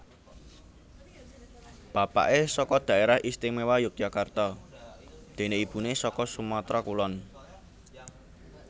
Bapaké saka Dhaerah Istimewa Yogyakarta déné ibuné saka Sumatra Kulon